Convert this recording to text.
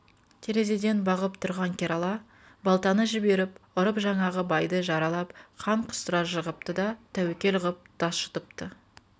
терезеден бағып тұрған керала балтаны жіберіп ұрып жаңағы байды жаралап қан құстыра жығыпты да тәуекел ғып тас жұтыпты